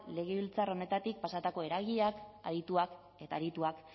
legebiltzar honetatik pasatako eragileak adituak eta arituak